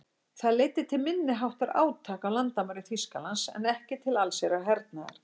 Það leiddi til minniháttar átaka á landamærum Þýskalands en ekki til allsherjar hernaðar.